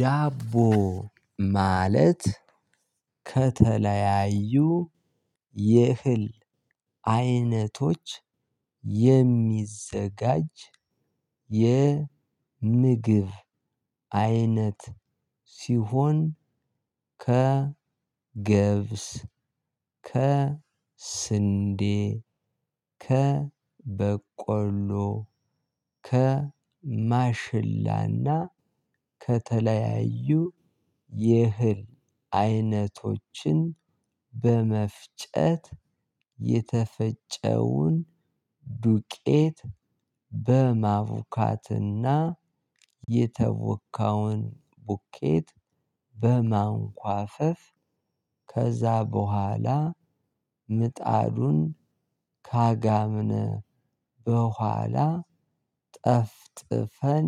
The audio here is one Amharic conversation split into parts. ዳቦ ማለት ከተለያዩ የእህል አይነቶች የሚዘጋጅ የምግብ አይነት ሲሆን ከ ገብስ ከ ስንዴ ከ ከበቆሎ ከማሽላና ከተለያዩ የእህል አይነቶችን በመፍጨት የተፈጨውን ዱቄት በማቡካትና የተቦካውን ቡኬት በማንኳፈፍ ከዛ በኋላ ምጣዱን ካጋምነ በኋላ ጠፍጥፈን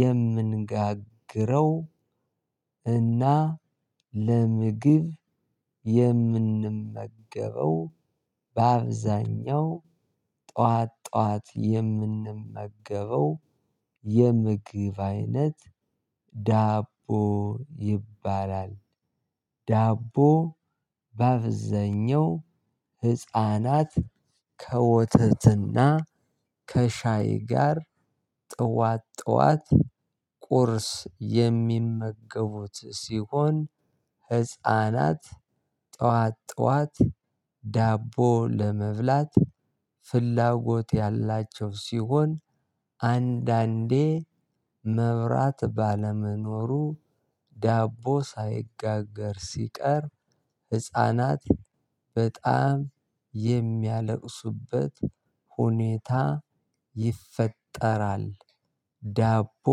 የምንጋግረው እና ለምግብ የምንመገበው በአብዛኛው ጠዋት ጠዋት የምንመገበው የምግብ አይነት ዳቦ ይባላል። ዳቦ በአብዛኛው ህፃናት ከወተትና ከሻይ ጋር ጠዋት ጠዋት ቁርስ የሚመገቡት ሲሆን ህፃናት ጠዋት ጠዋት ዳቦ ለመብላት ፍላጎት ያላቸው ሲሆን አንዳንዴ መብራት ባለመኖሩ ዳቦ ሳይጋገር ሲቀር ህፃናት በጣም የሚያለቅሱበት ሁኔታ ይፈጠራል። ዳቦ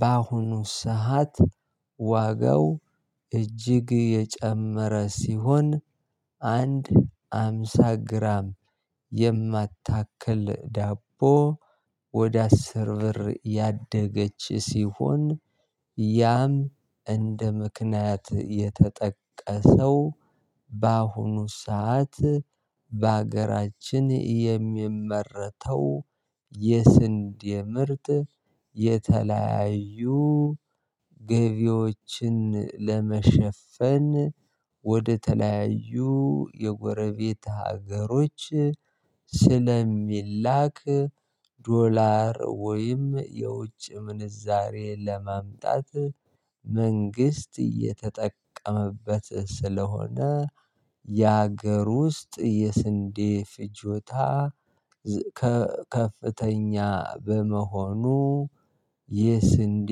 በአሁኑ ሰዓት ዋጋው እጅግ የጨመረ ሲሆን አንድ ሃምሳ ግራም የማታክል ዳቦ ወደ አስር ብር ያደገች ሲሆን። ያም እንደ ምክንያት የተጠቀሰው በአሁኑ ሰዓት በሀገራችን የሚመረተው የስንዴ ምርጥ የተለያዩ ገቢዎችን ለመሸፈን ወደተለያዩ የጎረቤት ሀገሮች ስለሚላክ። ዶላር ወይም የውጭ ምንዛሬ ለማምጣት መንግስት እየተጠቀመበት ስለሆነ የሀገር ውስጥ የስንዴ ፍጆታ ከፍተኛ በመሆኑ። የስንዴ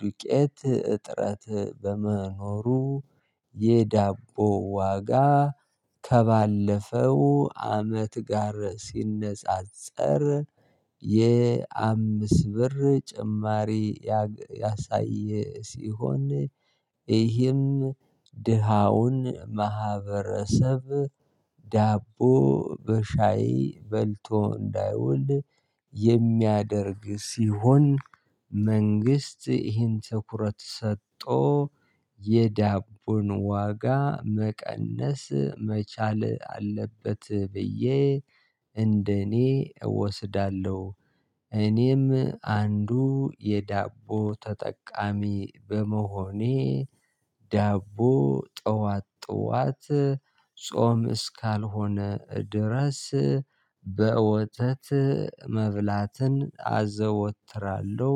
ዱቄት እጥረት በመኖሩ የዳቦ ዋጋ ከባለፈው አመት ጋር ሲነጻጸር የአምስት ብር ጭማሪ ያሳየ ሲሆን ይህም ድሃውን ማህበረሰብ ዳቦ በሻይ በልቶ እንዳይውል የሚያደርግ ሲሆን። መንግስት ይህን ትኩረት ሰጥቶ የዳቦን ዋጋ መቀነስ መቻል አለበት ብዬ እንደኔ እወስዳለሁ። እኔም አንዱ የዳቦ ተጠቃሚ በመሆኔ ዳቦ ጠዋት ጠዋት ጾም እስካልሆነ ድረስ በወተት መብላትን አዘወትራለሁ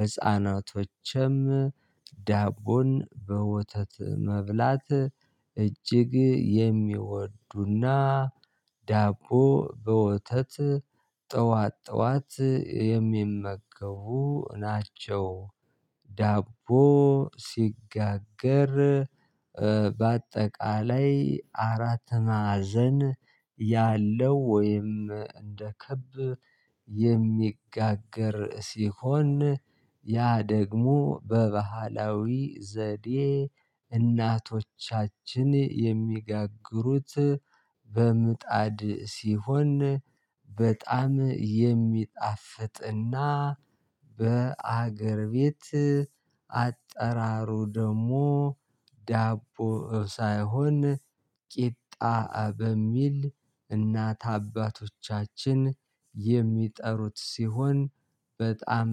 ህፃናቶችም ዳቦን በወተት መብላት እጅግ የሚወዱና ዳቦ በወተት ጠዋት ጠዋት የሚመገቡ ናቸው። ዳቦ ሲጋገር በአጠቃላይ አራት ማዕዘን ያለው ወይም እንደ ክብ የሚጋገር ሲሆን ያ ደግሞ በባህላዊ ዘዴ እናቶቻችን የሚጋግሩት በምጣድ ሲሆን በጣም የሚጣፍጥና በአገር ቤት አጠራሩ ደሞ ዳቦ ሳይሆን ቂጣ በሚል እናት አባቶቻችን የሚጠሩት ሲሆን። በጣም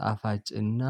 ጣፋጭና